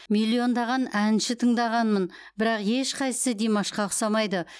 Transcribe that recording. миллиондаған әнші тыңдағанмын бірақ ешқайсысы димашқа ұқсамайды